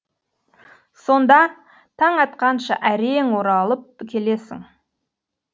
сонда таң атқанша әрең оралып келесің